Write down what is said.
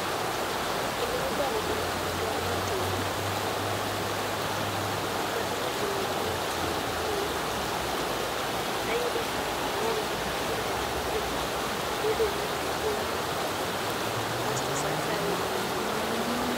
kinde mokuongo matemo timo tijni, ayudo ka aol tiende na ojony bede na ol kasto awinjo mana ka onego anindo